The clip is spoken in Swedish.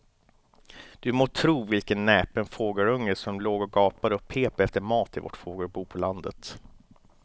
Du må tro vilken näpen fågelunge som låg och gapade och pep efter mat i vårt fågelbo på landet.